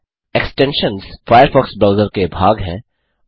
extensions Firefox browser के भाग हैं